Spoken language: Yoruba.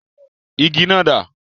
Igi náà dá?